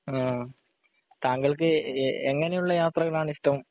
ആഹ് താങ്കൾക് എങ്ങിനെയുള്ള യാത്രകൾ ആണ് ഇഷ്ടം